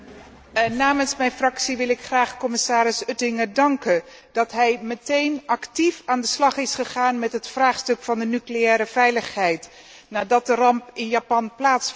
Namens mijn fractie wil ik graag commissaris Oettinger danken dat hij meteen actief aan de slag is gegaan met het vraagstuk van de nucleaire veiligheid, nadat de ramp in Japan plaatsvond.